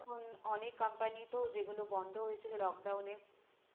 অনেক এখন company তো যেগুলো বন্ধ হয়েছিল lock down এ